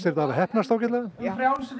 þetta hafa heppnast ágætlega já